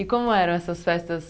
E como eram essas festas?